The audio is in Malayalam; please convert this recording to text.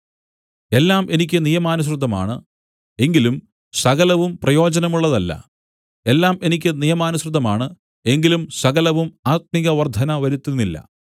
എല്ലാം എനിക്ക് നിയമാനുസൃതമാണ് എങ്കിലും സകലവും പ്രയോജനമുള്ളതല്ല എല്ലാം എനിക്ക് നിയമാനുസൃതമാണ് എങ്കിലും സകലവും ആത്മികവർദ്ധന വരുത്തുന്നില്ല